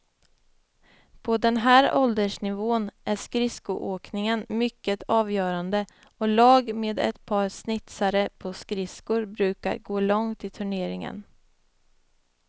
På den här åldersnivån är skridskoåkningen mycket avgörande och lag med ett par snitsare på skridskor brukar gå långt i turneringen.